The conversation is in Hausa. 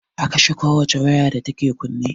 A kashe ko wace waya da take kunne